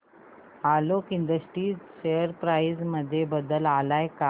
Alok industries share price मध्ये बदल आलाय का